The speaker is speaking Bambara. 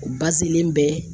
U ba selen bɛɛ.